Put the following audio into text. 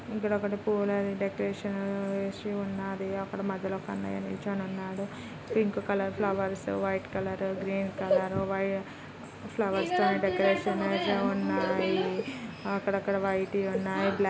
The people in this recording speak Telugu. ఇక్కడ ఒకటి పూల డెకరేషన్ వేసి ఉన్నాది. అక్కడ మధ్యలో కన్నయ్య నిల్చొని ఉన్నాడు. Pink colour flowers white colour green colour white flowers తో డెకరేషన్ చేసి ఉన్నాయి. అక్కడక్కడా వైట్ వి ఉన్నాయి. బ్లాక్ --